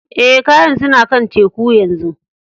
Eh, kayan suna kan teku yanzu.